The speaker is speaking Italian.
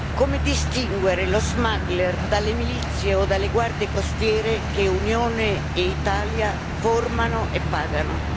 Come distinguere lo smuggler dalle milizie o dalle guardie costiere che Unione e Italia formano e pagano?